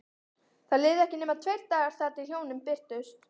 Það liðu ekki nema tveir dagar þar til hjónin birtust.